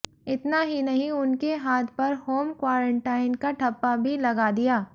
इतना ही नहीं उनके हाथ पर होम क्वॉरन्टीन का ठप्पा भी लगा दिया